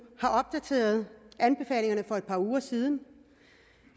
har opdateret anbefalingerne for et par uger siden